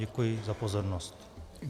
Děkuji za pozornost.